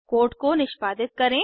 code को निष्पादित करें